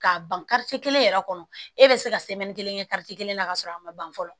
K'a ban kelen yɛrɛ kɔnɔ e bɛ se ka kelen kɛ kelen na ka sɔrɔ a ma ban fɔlɔ